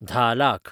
धा लाख